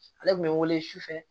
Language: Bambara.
Ale tun bɛ wele sufɛ